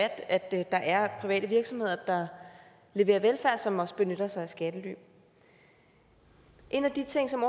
at der er private virksomheder der leverer velfærd som også benytter sig af skattely en af de ting som